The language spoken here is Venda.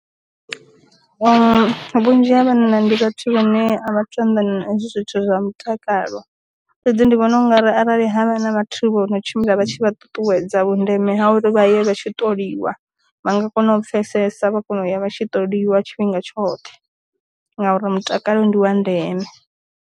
Vhunzhi ha vhanna ndi vhathu vhane a vhathu anḓana hezwi zwithu zwa mutakalo, fhedzi ndi vhona ungari arali havha na vhathu vho no tshimbila vha tshi vha ṱuṱuwedza vhundeme ha uri vha ye vha tshi ṱoliwa vha nga kona u pfesesa vha kona u ya vha tshi ṱoliwa tshifhinga tshoṱhe, ngauri mutakalo ndiwa ndeme.